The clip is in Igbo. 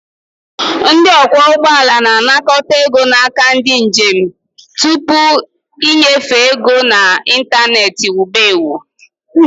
Ndị ọkwọ ụgbọala na-anakọta ego n'aka ndị njem tupu ịnyefe ego na ịntanetị wube ewu